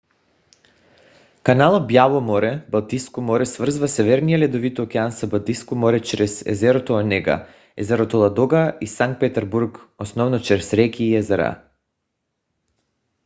каналът бяло море - балтийско море свързва северния ледовит океан с балтийско море чрез езерото онега езерото ладога и санкт петербург основно чрез реки и езера